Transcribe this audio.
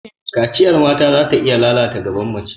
Kaciyar mata zata iya lalata gaban mace.